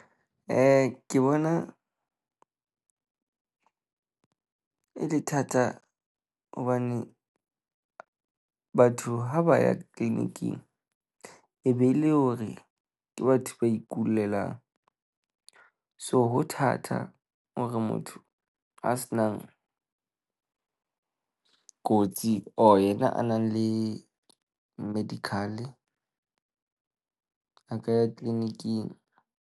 Ke bona e le thata hobane batho ha ba ya clinic-ing e be le hore ke batho ba ikulelang. So ho thata hore motho a se nang kotsi or ena a nang le medical, a ka ya clinic-ing.